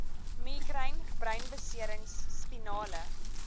migraine breinbeserings spinale